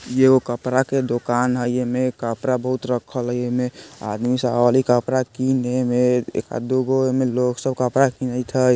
येगो कपरा के दोकान हई येमे कपरा बहुत रखल हय येमे आदमी सब आवली कपरा कीने में एकाद दु गो ऐमे लोग सब कपरा किनैत हय।